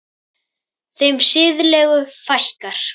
Þeim siðlegu fækkar.